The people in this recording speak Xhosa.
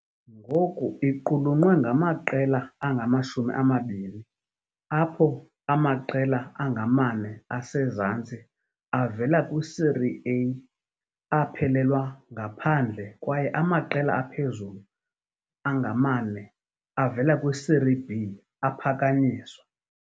Ngoku iqulunqwe ngamaqela angama-20, apho amaqela angama-4 asezantsi avela kwi-Série A aphelelwa ngaphandle kwaye amaqela aphezulu angama-4 avela kwi-Serie B aphakanyiswa.